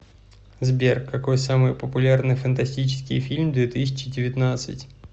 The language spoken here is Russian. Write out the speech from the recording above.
сбер какой самый популярный фантастический фильм две тысячи девятнадцать